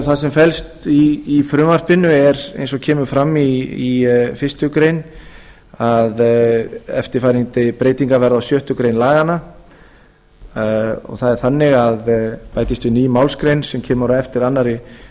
það sem felst í frumvarpinu er eins og kemur fram í fyrstu grein að eftirfarandi breytingar verða á sjöttu grein laganna það er þannig að við bætist ný málsgrein sem kemur á eftir annarri